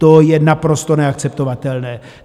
To je naprosto neakceptovatelné.